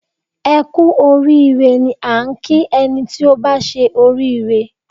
Ẹ Kú orí ire ni a ń kí ẹni tí ó bá ṣe oríire